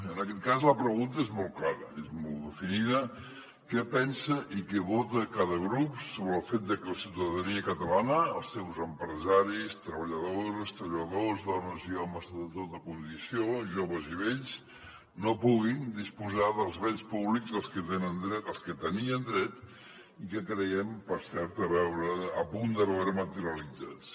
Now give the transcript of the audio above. en aquest cas la pregunta és molt clara és molt definida què pensa i què vota cada grup sobre el fet de que la ciutadania catalana els seus empresaris treballadores treballadors dones i homes de tota condició joves i vells no pugui disposar dels béns públics a què tenien dret i que creien per cert a punt de veure materialitzats